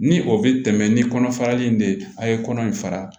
Ni o bɛ tɛmɛ ni kɔnɔ farali in de ye a' ye kɔnɔ in fara